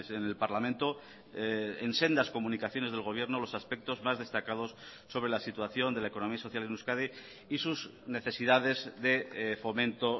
en el parlamento en sendas comunicaciones del gobierno los aspectos más destacados sobre la situación de la economía social en euskadi y sus necesidades de fomento